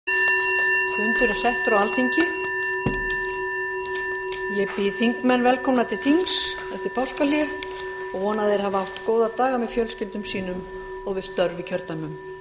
ég býð þingmenn velkomna til þings eftir páskahlé og vona að þeir hafi átt góða daga með fjölskyldum sínum og við störf í kjördæmum